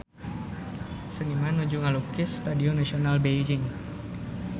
Seniman nuju ngalukis Stadion Nasional Beijing